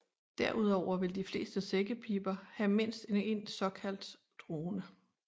Derudover vil de fleste sækkepiber have mindst en såkaldt drone